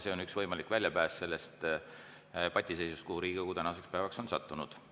See on üks võimalik väljapääs sellest patiseisust, kuhu Riigikogu tänaseks päevaks on sattunud.